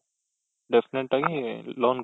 definite ಆಗಿ loan